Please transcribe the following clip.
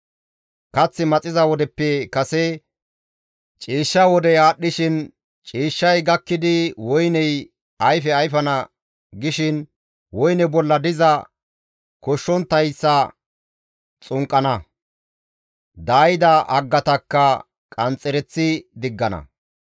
Kath maxiza wodeppe kase ciishsha wodey aadhdhishin, ciishshay gakkidi woyney ayfe ayfana gishin, woyne bolla diza koshshonttayssa xunqqana; daayida haggatakka qanxxereththi diggana.